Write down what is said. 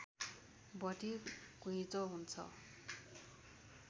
बढी घुइँचो हुन्छ